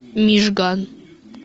мижган